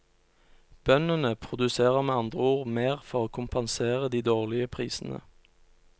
Bøndene produserer med andre ord mer for å kompensere de dårligere prisene.